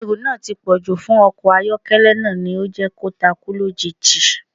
Ẹrù náà tí pọ̀jù fún ọkọ̀ àyọ́kẹ́lẹ́ náà ni ó jẹ́ kí ó takú lójijì